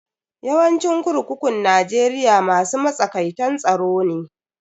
Yawancin kurkukun Najeriya masu matsakaitan tsaro ne.